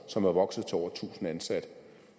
som er vokset til over tusind ansatte